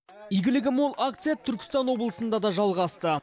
игілігі мол акция түркістан облысында да жалғасты